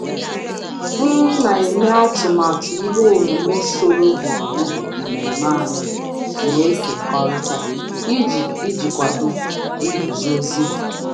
M na-eme atụmatụ ihe omume solo gburugburu mmemme anyị na-ekekọrịta iji iji kwado nguzozi.